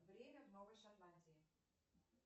время в новой шотландии